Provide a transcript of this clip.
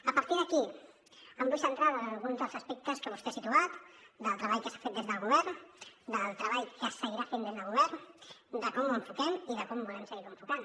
a partir d’aquí em vull centrar en alguns dels aspectes que vostè ha situat del treball que s’ha fet des del govern del treball que es seguirà fent des del govern de com ho enfoquem i de com volem seguir ho enfocant